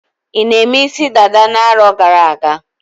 I na-eme isi dada na-arọ gara-aga?